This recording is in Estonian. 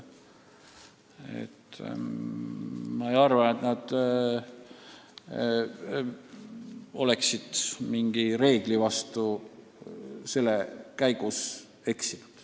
Ma ei arva, et nad on mingi reegli vastu eksinud.